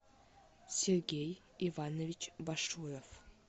сергей иванович башуев